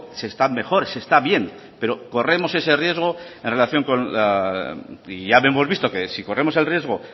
se está mejor se está bien pero corremos ese riesgo ya hemos visto que si corremos el riesgo